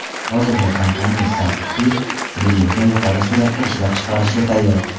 Hozirda kompaniya sapfir billurini yuqori suratda ishlab chiqarishga tayyor.